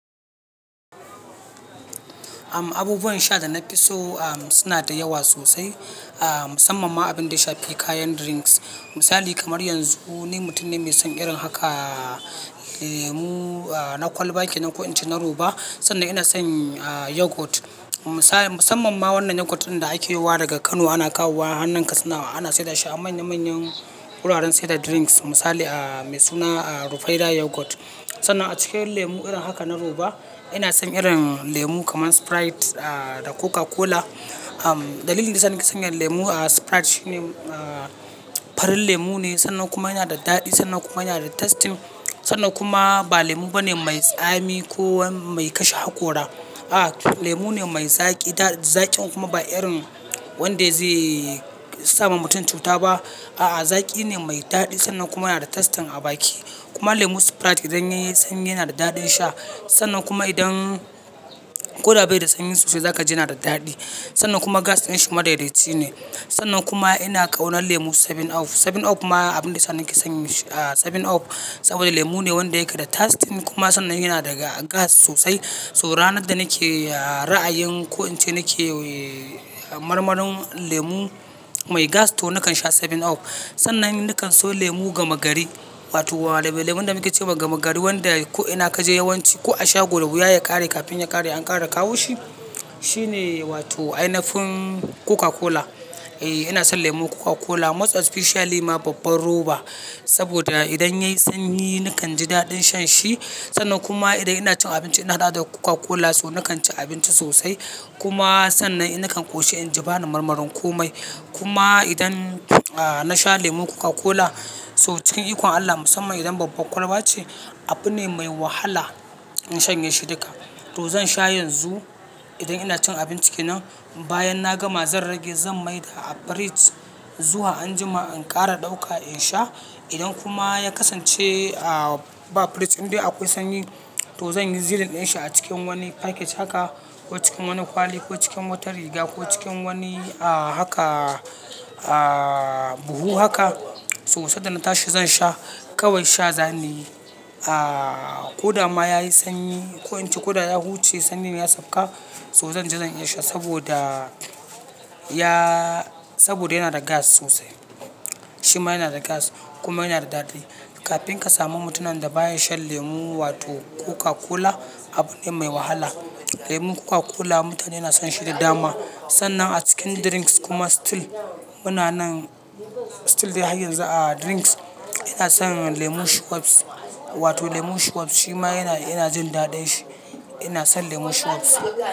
Abubuwan sha da na fi so suna da yawa sosai, musamman abin da shafi kayan drinks. Misali kamar yanzu ni mutum ne mai son irin haka lemu na kwalba kenan ko in ce na roba. Sannan ina son yoghurt, musamman ma wannan yoghurt ɗin da ake kawo wa daga Kano. Ana kawo wa, a anan kasina ana sayar da shi a manya manyan wuraren sayar da drinks. Misali mai suna Rufaidah Yoghurt. Sannan a cikin lemu irin haka na roba ina son irin lemu kamar sprite da coca-cola. Dalilin da ya sa nake son yin lemu sprite shine farin lemu ne sannan kuma yana da daɗi sannan kuma yana da tasting. Sannan kuma ba lemu bane mai tsami ko mai kashe hakora. A'a, lemu ne mai zaƙi, zaƙin kuma ba irin wanda zai sa wa mutum cuta ba. A'a, zaƙi ne mai daɗi sannan kuma yana da tasting a baki. Kuma lemun sprite idan ya yi sanyi yana da daɗin sha sannan kuma idan ko da ba yi da sanyi sosai za ka ji yana da daɗi. Sannan kuma gas ɗin shi madaidaci ne sannan kuma ina ƙaunar lemu seven up. Seven up kuma abin da ya sa nake son seven up saboda lemu ne wanda ya kai da tasting kuma sannan yana da gas sosai. To ranar da nake ra'ayin ko in ce nake marmaron lemu mai gas to nakan sha seven up. Sannan nakan so lemu gama gari wato lemun da muke ce wa gama gari wanda ko ina ka je yawanci ko a shago, in ruwa ya ƙare kafin ya ƙare an ƙara kawo shi. Shi ne wato ainafin Coca-Cola. Eh ina son lemun Coca-Cola, most especially ma babbar roba saboda idan ya yi sanyi nakan ji daɗin shan shi sannan kuma idan ina cin abinci ina da Coca-Cola so nakan ci abinci sosai. Kuma sannan nakan ƙoshi in ji bani marmaron komai. Kuma idan na sha lemun Coca-Cola so cikin ikon Allah musamman idan babbar kwalba ce, abu ne mai wahala in shanye shi duka. To zan sha yanzu idan ina cin abinci kenan. Bayan na gama zan rage zan mai da a fridge zuwa anjima in ƙara ɗauka in sha. Idan kuma ya kasance ba fridge inda akwai sanyi to zan yi zilon ɗin shi a cikin wani faket haka ko cikin wani kwali ko cikin wata riga ko cikin wani a haka buhu haka so sada na tashi zan sha. Kawai sha zan yi. Ko da ma ya yi sanyi ko in ce ko da ya huce sannin ya sauka to zan ji zan iya sha saboda yana da gas sosai. Shi ma yana da gas kuma yana da daɗi. Kafin ka samu mutumin da ba ya shan lemu wato Coca-Cola abu ne mai wahala. Lemun Coca-Cola mutane suna son shi da dama. Sannan a cikin drinks kuma still muna nan still dai har yanzu a drinks ina son lemon Schweppes wato lemon Schweppes. Shi ma ina jin daɗin shi. Ina son lemon Schweppes.